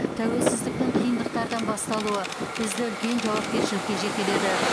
тәуелсіздіктің қиындықтардан басталуы бізді үлкен жауапкершілікке жетеледі